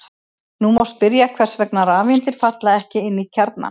Nú má spyrja hvers vegna rafeindir falla ekki inn í kjarnann.